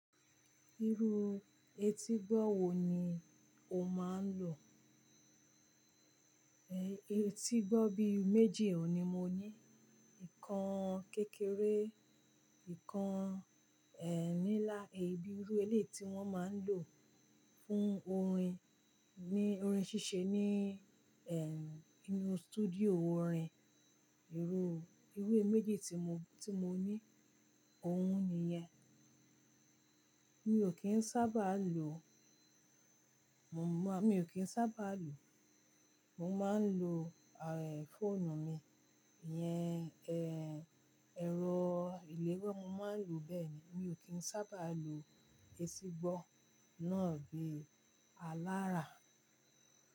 Irú etígbọ́ wo ni o máa ń lò? Etí gbọ́ bí méjì ni mo ní. Ìkan kékeré, ìkan ẹ́n nílá, èyí bí irú elé ti wọ́n máa ń lò fún orin, ní orin ṣíṣe ní inú studio orin. Irú méjì tí mo, tí mo ní, òun ni yẹn. Mi ò kí ń sábà lo, mo máa, mi ò kí ń sábà lo. Mo máa ń lo fọ́ọ̀nù mi. Iyẹn ẹ̀rọ ìléwá, mo máa ń lò bẹ́ẹ̀ ni. Mi ò kí ń sábà lo etí gbọ́ náà bí alára.